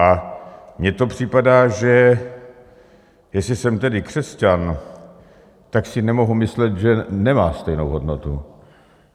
A mně to připadá, že jestli jsem tedy křesťan, tak si nemohu myslet, že nemá stejnou hodnotu.